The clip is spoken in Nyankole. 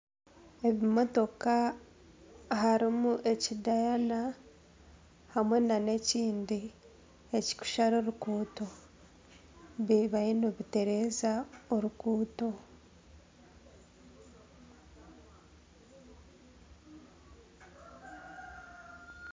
Ebimotoka harimu ekidayana hamwe nana ekindi ekikushara oruguuto bibayo nibitereza orukuuto.